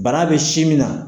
Bana bɛ si min na